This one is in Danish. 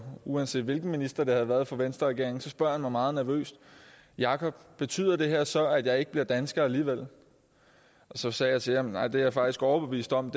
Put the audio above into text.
uanset hvilken minister det havde været fra venstre regeringen og mig meget nervøst jakob betyder det her så at jeg ikke bliver dansker alligevel så sagde jeg til ham nej det er jeg faktisk overbevist om